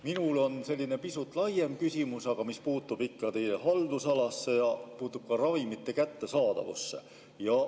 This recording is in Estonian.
Minul on selline pisut laiem küsimus, aga see puutub ikka teie haldusalasse ja puudutab ka ravimite kättesaadavust.